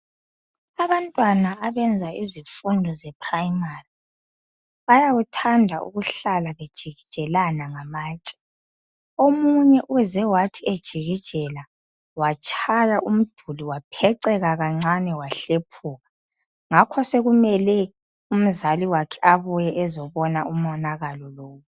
Abantwana abenza izifundo zePrimary bayakuthanda ukuhlala bejikijelana ngamatshe. Omunye uze wathi ejikijela omunye watshaya umduli wapheceka kancane, wahlephuka ngakho ke sokumele umzali wakhe abuye azobona umonakalo lo.